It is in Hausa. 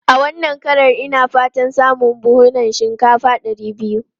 A wannan kakar, ina fatan samun kusan buhunan shinkafa ɗari biyu.